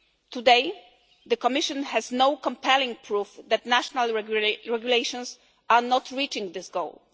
Today, the Commission has no compelling proof that national regulations are not reaching this goal.